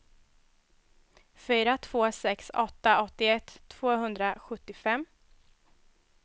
fyra två sex åtta åttioett tvåhundrasjuttiofem